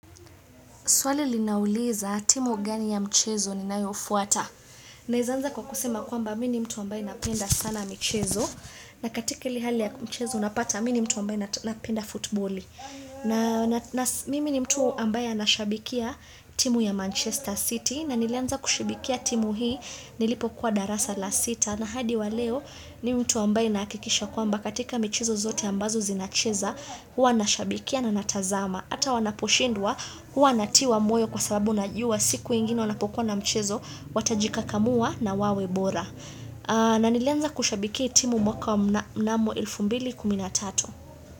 Swali linauliza timu gani ya mchezo ninayofuata. Naezanza kwa kusema kwamba mini mtu ambaye napenda sana mchezo. Na katika hili hali ya mchezo unapata mini mtu ambaye napenda futboli. Na mimi ni mtu ambaye anashabikia timu ya Manchester City. Na nilianza kushibikia timu hii nilipo kwa darasa la sita. Na hadi wa leo ni mtu ambaye nakikisha kwamba katika mchezo zote ambazo zinacheza. Huwa nashabikia na natazama. Hata wanaposhindwa huwa natiwa moyo kwa sababu najuwa siku ingine wanapokuwa na mchezo Watajikakamua na wawebora na nilianza kushabikia timu mwaka wa mnamo elfu mbili kumi na tatu.